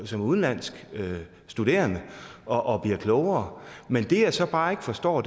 som udenlandsk studerende og og bliver klogere men det jeg så bare ikke forstår